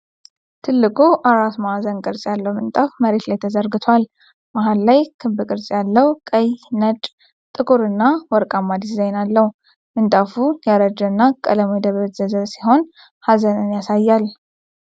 ትልቁ አራት ማዕዘን ቅርፅ ያለው ምንጣፍ መሬት ላይ ተዘርግቷል። መሃሉ ላይ ክብ ቅርጽ ያለው ቀይ፣ ነጭ፣ ጥቁርና ወርቃማ ዲዛይን አለው። ምንጣፉ ያረጀ እና ቀለሙ የደበዘዘ ሲሆን ሀዘንን ያሳያል።